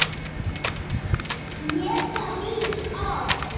Éta mýs ost?